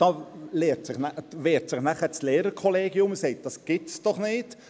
Da wehrt sich dann das Lehrerkollegium und sagt: «Das gibt es doch nicht;